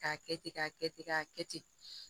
K'a kɛ ten k'a kɛ ten k'a kɛ ten